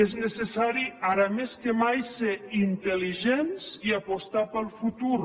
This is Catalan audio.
és necessari ara més que mai ser intel·ligents i apostar pel futur